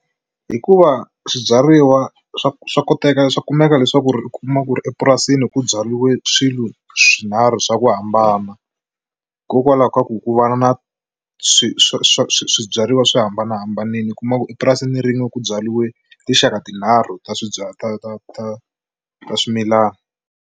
Hikuva swibyariwa swa swa koteka swa kumeka leswaku ri u kuma ku ri epurasini ku byariwe swilo swinharhu swa ku hambana hikokwalaho ka ku ku va na na swibyariwa swi hambanahambanile u kuma ku epurasini rin'we ku byariwe tinxaka tinharhu ta ta ta ta swimilana.